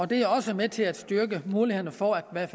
det er også med til at styrke mulighederne for at